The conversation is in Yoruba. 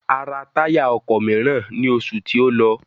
A rà táyà ọkọ̀ mìíràn ní oṣù tí ó lọ.